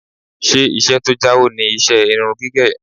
Ṣé iṣẹ́ tó jáwó ni iṣẹ́ irun gígẹ̀?